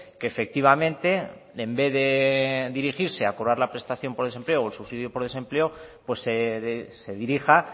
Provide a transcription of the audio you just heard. que efectivamente en vez de dirigirse a cobrar la prestación por desempleo o el subsidio por desempleo se dirija